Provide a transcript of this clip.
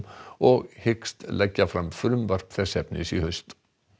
og hyggst leggja fram frumvarp þess efnis í haust